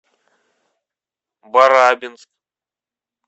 барабинск